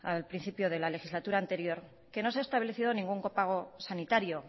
al principio de la legislatura anterior que no se estableció ningún copago sanitario